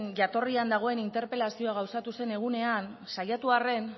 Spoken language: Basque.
jatorrian dagoen interpelazioa gauzatu zen egunean saiatu arren